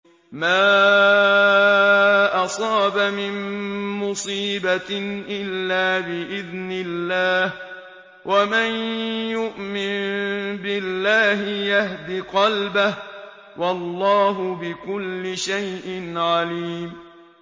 مَا أَصَابَ مِن مُّصِيبَةٍ إِلَّا بِإِذْنِ اللَّهِ ۗ وَمَن يُؤْمِن بِاللَّهِ يَهْدِ قَلْبَهُ ۚ وَاللَّهُ بِكُلِّ شَيْءٍ عَلِيمٌ